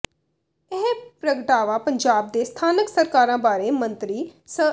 ਇਹ ਪ੍ਰਗਟਾਵਾ ਪੰਜਾਬ ਦੇ ਸਥਾਨਕ ਸਰਕਾਰਾਂ ਬਾਰੇ ਮੰਤਰੀ ਸ